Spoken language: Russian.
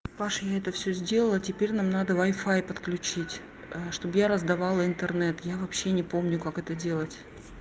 паша я это всё сделала теперь нам надо вай фай подключить чтобы я раздавала интернет я вообще не помню как это делать